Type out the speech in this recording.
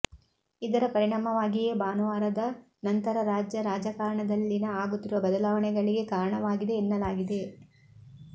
ಇದರ ಪರಿಣಾಮವಾಗಿಯೇ ಭಾನುವಾರದ ನಂತರ ರಾಜ್ಯ ರಾಜಕಾರಣದಲ್ಲಿನ ಆಗುತ್ತಿರುವ ಬದಲಾವಣೆಗಳಿಗೆ ಕಾರಣವಾಗಿದೆ ಎನ್ನಲಾಗಿದೆ